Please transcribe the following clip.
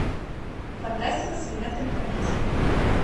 фантастика с элементами комедии